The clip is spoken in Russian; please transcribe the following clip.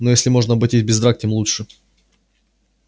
но если можно обойтись без драк тем лучше